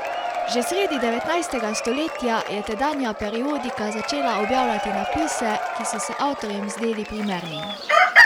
Že sredi devetnajstega stoletja je tedanja periodika začela objavljati napise, ki so se avtorjem zdeli primerni.